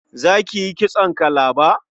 Za ki yi kitson kalaba?